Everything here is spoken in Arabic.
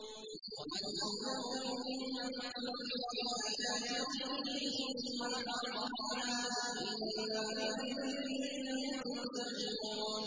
وَمَنْ أَظْلَمُ مِمَّن ذُكِّرَ بِآيَاتِ رَبِّهِ ثُمَّ أَعْرَضَ عَنْهَا ۚ إِنَّا مِنَ الْمُجْرِمِينَ مُنتَقِمُونَ